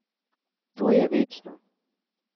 To je večno.